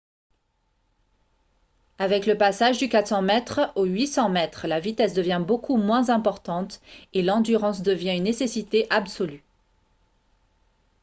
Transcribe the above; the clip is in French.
avec le passage du 400 mètres au 800 mètres la vitesse devient beaucoup moins importante et l'endurance devient une nécessité absolue